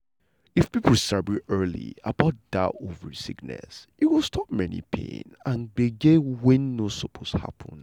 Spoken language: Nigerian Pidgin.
if people sabi early about that ovary sickness e go stop many pain and gbege wey no suppose happen.